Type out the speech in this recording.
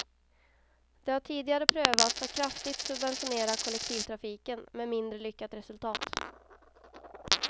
Det har tidigare prövats att kraftigt subventionera kollektivtrafiken, med mindre lyckat resultat.